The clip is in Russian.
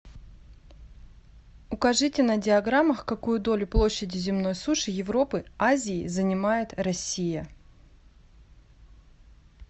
укажите на диаграммах какую долю площади земной суши европы азии занимает россия